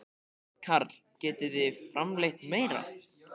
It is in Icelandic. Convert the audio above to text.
Karl: Getið þið framleitt meira?